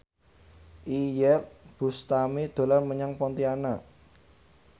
Iyeth Bustami dolan menyang Pontianak